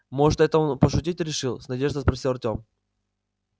может это он пошутить решил с надеждой спросил артём